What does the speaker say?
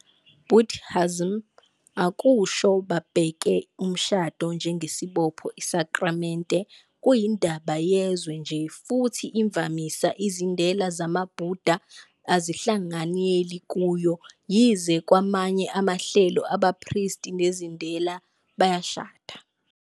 Buddhism akusho babheka umshado njengesibopho isakramente, kuyindaba yezwe nje, futhi imvamisa izindela zamaBuddha azihlanganyeli kuyo, yize kwamanye amahlelo abaphristi nezindela bayashada.